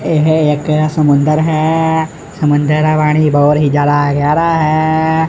ਇਹ ਇੱਕ ਸਮੁੰਦਰ ਹੈ ਸਮੁੰਦਰ ਦਾ ਪਾਣੀ ਬਹੁਤ ਹੀ ਜਿਆਦਾ ਗਹਿਰਾ ਹੈ।